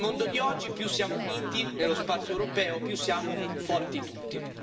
Nel mondo di oggi, più siamo uniti nello spazio europeo più siamo più forti tutti.